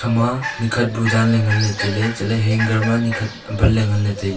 ama nyekhat bu dan ley ngan ley tailey chatley hanger ma nyekhat banley nganley tailey.